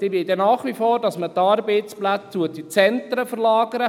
die wollen, dass man die Arbeitsplätze nach wie vor in die Zentren verlagert.